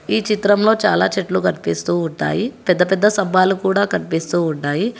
ఈ చిత్రంలో చాలా చెట్లు కనిపిస్తూ ఉంటాయి పెద్ద పెద్ద సభాలు కూడా కనిపిస్తూ ఉంటాయి.